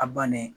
A bannen